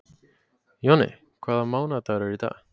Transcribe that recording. Jonni, hvaða mánaðardagur er í dag?